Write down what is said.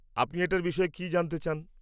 আপনি এটার বিষয়ে কি জানতে চান?